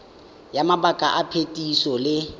ya mabaka a phetiso le